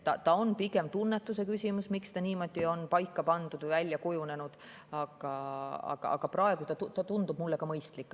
See on pigem tunnetuse küsimus, miks see niimoodi on paika pandud ja välja kujunenud, aga praegu tundub see mulle mõistlik.